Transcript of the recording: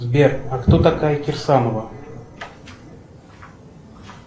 сбер а кто такая кирсанова